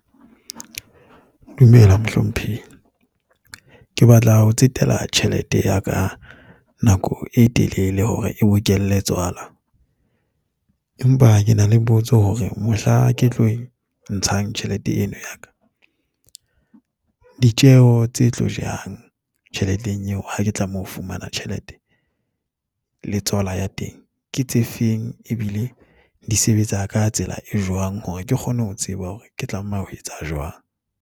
Dumela, mohlomphehi. Ke batla ho tsetela tjhelete ya ka nako e telele hore e bokelle tswala empa ke na le potso hore mohla ke tlo ntshang tjhelete eno ya ka, ditjeo tse tlo jehang tjheleteng eo, ha ke tlameha ho fumana tjhelete le tswala ya teng, ke tse feng, ebile di sebetsa ka tsela e jwang hore ke kgone ho tseba hore ke tlameha ho etsa jwang.